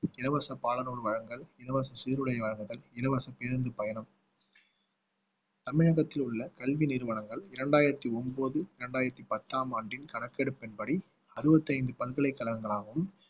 இலவச பாடநூல் வழங்கல் இலவச சீருடை வழங்குதல் இலவச பேருந்து பயணம் தமிழகத்தில் உள்ள கல்வி நிறுவனங்கள் இரண்டாயிரத்தி ஒன்பது இரண்டாயிரத்தி பத்தாம் ஆண்டின் கணக்கெடுப்பின்படி அறுபத்தி ஐந்து பல்கலைக்கழகங்களாகவும்